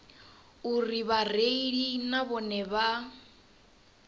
uri vhareili na vhone vha